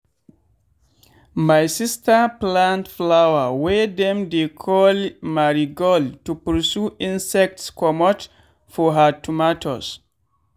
my sister plant flower wey dem dey call marigold to pursue insects comot for her tomatoes.